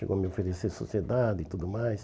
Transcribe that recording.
Chegou a me oferecer sociedade e tudo mais.